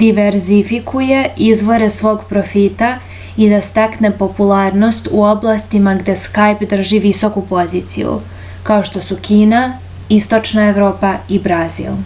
diverzifikuje izvore svog profita i da stekne popularnost u oblastima gde skajp drži visoku poziciju kao što su kina istočna evropa i brazil